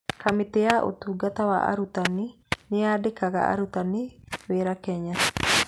Kamĩtĩ ya Ũtungata wa Arutani nĩyandĩkaga arutani wĩra Kenya.